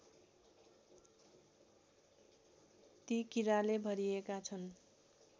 ती कीराले भरिएका छन्